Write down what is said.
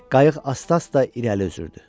Qayıq asta-asta irəli üzürdü.